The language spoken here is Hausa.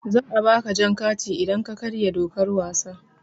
Za a ba ka jan kati idan ka karya dokar wasa.